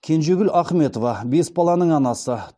кенжегүл ахметова бес баланың анасы